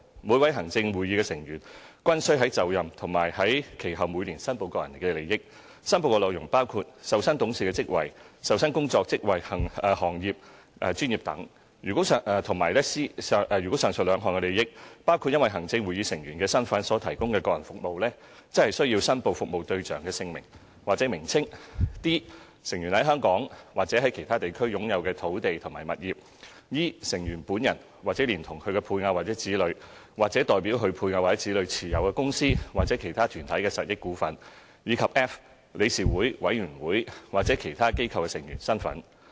每位行政會議成員均須在就任時和其後每年申報個人利益，申報內容包括 a 受薪董事職位 ；b 受薪工作、職位、行業、專業等 ；c 如上述兩項的利益包括因行政會議成員身份所提供的個人服務，則須申報服務對象的姓名或名稱 ；d 成員在香港或其他地區擁有的土地及物業 ；e 成員本人或連同其配偶或子女、或代表其配偶或子女持有公司或其他團體的實益股份；以及 f 理事會、委員會或其他機構的成員身份。